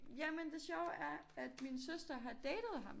Jamen det sjove er at min søster har datet ham